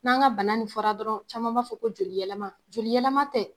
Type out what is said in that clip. N'an ka bana nin fɔra dɔrɔn caman b'a fɔ ko joli yɛlɛma, joli yɛlɛma tɛ.